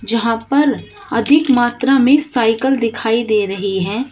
जहां पर अधिक मात्रा में साइकल दिखाई दे रही है।